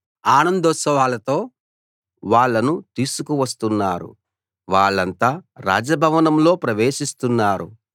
ఆనందోత్సాహలతో వాళ్ళను తీసుకువస్తున్నారు వాళ్ళంతా రాజ భవనంలో ప్రవేశిస్తున్నారు